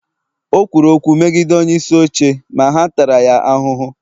o kwuru okwu megide onyeisi oche ma ha taara ya ahụhụ